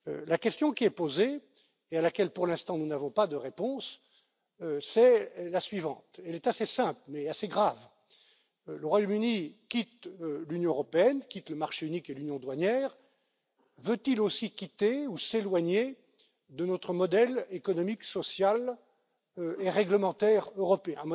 La question qui est posée et à laquelle, pour l'instant, nous n'avons pas de réponse est la suivante elle est assez simple, mais assez grave le Royaume Uni quitte l'Union européenne, quitte le marché unique et l'union douanière, mais veut il aussi quitter ou s'éloigner de notre modèle économique, social et réglementaire européen?